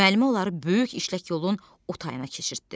Müəllimə onları böyük işlək yolun o tayına keçirtdi.